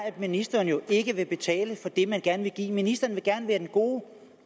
at ministeren ikke vil betale for det man gerne vil give ministeren vil gerne være den gode